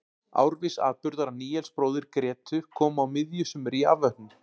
Árviss atburður að Níels bróðir Grétu kom á miðju sumri í afvötnun.